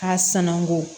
A sanango